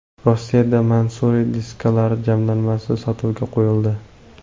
Rossiyada Mansory diskalari jamlanmasi sotuvga qo‘yildi.